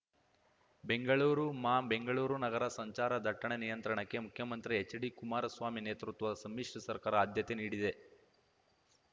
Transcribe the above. ಬೆಂಗಳೂರು ಮಾ ಬೆಂಗಳೂರು ನಗರ ಸಂಚಾರ ದಟ್ಟಣೆ ನಿಯಂತ್ರಣಕ್ಕೆ ಮುಖ್ಯಮಂತ್ರಿ ಹೆಚ್ಡಿಕುಮಾರ ಸ್ವಾಮಿ ನೇತೃತ್ವದ ಸಮ್ಮಿಶ್ರ ಸರ್ಕಾರ ಆದ್ಯತೆ ನೀಡಿದೆ